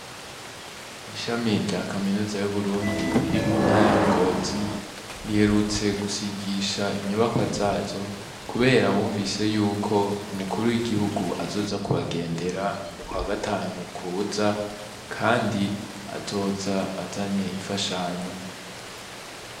Ishami rya kaminuya yu Burundi riri mu ntara ya ngozi riherutse gusigisha inyubakwa zazo kubera bumvise yuko umukuru w'igihugu azoza kubagendera mu kwa gatanu kuza kandi azoza azanye infashanyo.